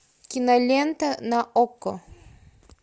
кинолента на окко